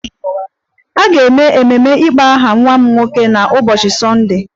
A ga-eme emume ịkpọ aha nwa m nwoke n'ụbọchị Sọnde